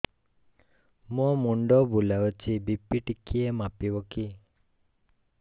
ମୋ ମୁଣ୍ଡ ବୁଲାଉଛି ବି.ପି ଟିକିଏ ମାପିବ କି